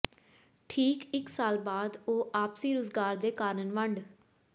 ਠੀਕ ਇਕ ਸਾਲ ਬਾਅਦ ਉਹ ਆਪਸੀ ਰੁਜ਼ਗਾਰ ਦੇ ਕਾਰਨ ਵੰਡ